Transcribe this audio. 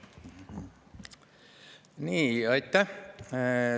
Aitäh!